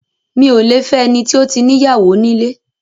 Mi ò lẹ fẹ́ ẹni tó ti ní ìyàwó nílé.